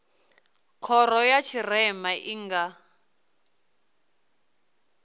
khoro ya tshirema i nga